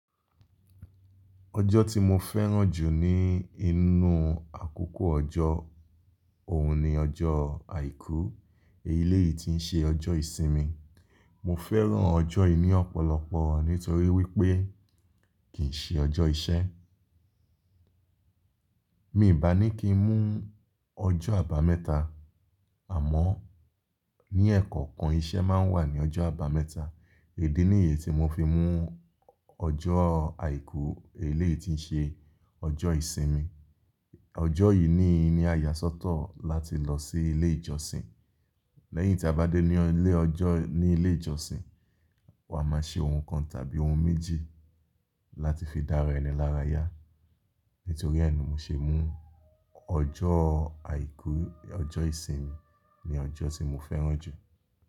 Ọjọ́ tí mo fẹ́ràn jù ní inú àkókò ọjọ́, òun ni ọjọ́ Àìkú, èyí lé yìí tí ń ṣe ọjọ́ ìsinmi. Mo fẹ́ràn ọjọ́ yìí ní ọ̀pọ̀lọpọ̀ nítorí wípé kì í ṣe ọjọ́ iṣẹ́. Mí bà ní kí n mú ọjọ́ àbámẹ́ta, àmọ́ ní ẹ̀kọ̀kan iṣẹ́ máa ń wà ní ọjọ́ àbámẹ́ta. Ìdí nìyẹn tí mo fi mú ọjọ́ Àìkú, èyí lé yìí tí ń ṣe ọjọ́ ìsinmi. Ọjọ́ yìí ní i ní ìyàsọ́tọ̀ láti lọ sí ilé ìjọsìn. Lẹ́yìn tí a bá dé ní ilé ọjọ́, ní ilé ìjọsìn, wa máa ṣe ohun kan tàbí ohun méjì láti fi dára ẹni lára yá. Nítorí ẹ ni mo ṣe mú ọjọ́ Àìkú, ọjọ́ ìsinmi ni ọjọ́ tí mo fẹ́ràn jù.